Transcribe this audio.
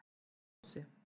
Hesthálsi